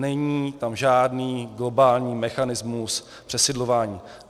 Není tam žádný globální mechanismus přesidlování.